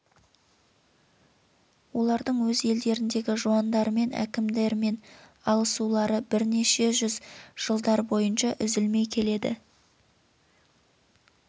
олардың өз елдеріндегі жуандарымен әкімдерімен алысулары бірнеше жүз жылдар бойынша үзілмей келеді